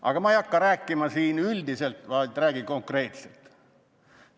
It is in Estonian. Aga ma ei hakka siin rääkima üldiselt, vaid räägin konkreetselt.